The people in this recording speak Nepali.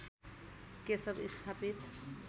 केशव स्थापित